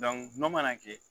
Dɔnku gulɔ mana kɛ